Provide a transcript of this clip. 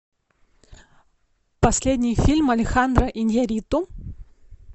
последний фильм алехандро иньярриту